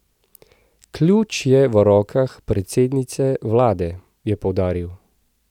Ključ je v rokah predsednice vlade, je poudaril.